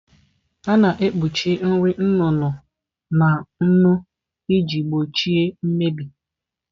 A na-ekpuchi nri nnu nnu na nnu iji gbochie mmebi